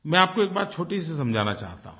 मैं आपको एक बात छोटी सी समझाना चाहता हूँ